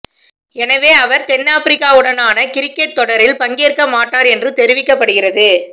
எனவே அவர் தென்னாப்பிரிக்காவுடனான கிரிக்கட் தொடரில் பங்கேற்க மாட்டார் என்று தெரிவிக்கப்படுகிறது